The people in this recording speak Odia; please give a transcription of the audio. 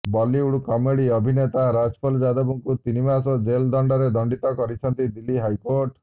ବଲିଉଡ କମେଡି ଅଭିନେତା ରାଜପଲ ଯାଦବଙ୍କୁ ତିନି ମାସ ଜେଲ ଦଣ୍ଡରେ ଦଣ୍ଡିତ କରିଛନ୍ତି ଦିଲ୍ଲୀ ହାଇକୋର୍ଟ